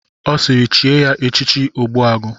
Ọ sịịrị chie ya echichi Ogbuagụ!